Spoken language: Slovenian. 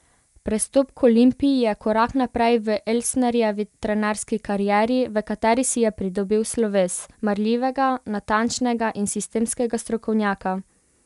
Prestop k Olimpiji je korak naprej v Elsnerjevi trenerski karieri, v kateri si je pridobil sloves marljivega, natančnega in sistemskega strokovnjaka.